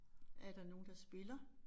Er der nogen der spiller?